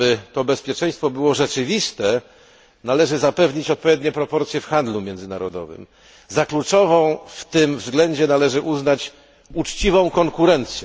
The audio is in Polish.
Aby było ono rzeczywiste, należy zapewnić odpowiednie proporcje w handlu międzynarodowym. Za kluczową w tym względzie należy uznać uczciwą konkurencję.